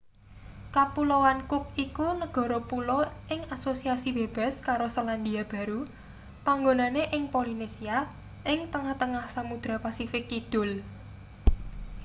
kapuloan cook iku negara pulo ing asosiasi bebas karo selandia baru panggonane ing polinesia ing tengah-tengah samudra pasifik kidul